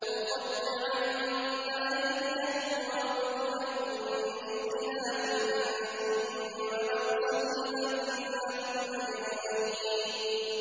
لَأُقَطِّعَنَّ أَيْدِيَكُمْ وَأَرْجُلَكُم مِّنْ خِلَافٍ ثُمَّ لَأُصَلِّبَنَّكُمْ أَجْمَعِينَ